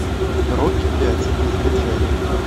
рокки пять закачай